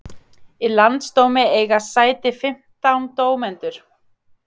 Í landsdómi eiga sæti fimmtán dómendur